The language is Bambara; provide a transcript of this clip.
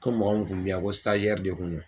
Ko mɔgɔ mun kun bɛ y' an ko de kun no.